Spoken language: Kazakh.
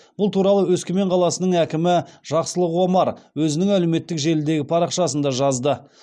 бұл туралы өскемен қаласының әкімі жақсылық омар өзінің әлеуметтік желідегі парақшасында жазды